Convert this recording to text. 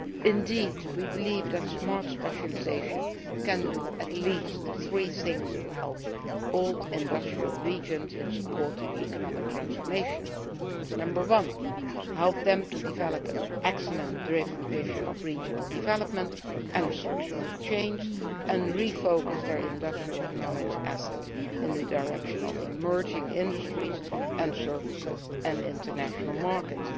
Indeed we believe that Smart Specialisation can do at least three things to help old industrial regions in supporting economic transformation, Number one, help them to develop an excellence driven vision of regional development and structural change, and to re focus their industrial and knowledge assets in the direction of emerging industries and services and international markets.